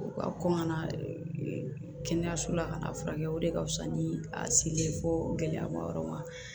U ka kɔn ka na kɛnɛyaso la ka n'a furakɛ o de ka fusa ni a selen ye fo gɛlɛyama yɔrɔ ma